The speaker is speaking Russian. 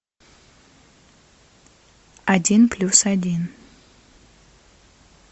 один плюс один